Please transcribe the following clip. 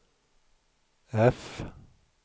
F